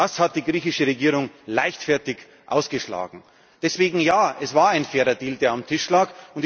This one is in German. Das hat die griechische Regierung leichtfertig ausgeschlagen. Deswegen ja Es war ein fairer Deal, der auf dem Tisch